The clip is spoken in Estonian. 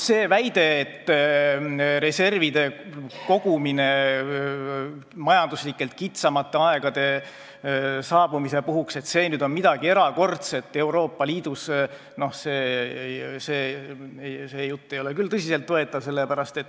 See jutt, et reservide kogumine majanduslikult kitsamate aegade saabumise puhuks on Euroopa Liidus midagi erakordset, ei ole küll tõsiselt võetav.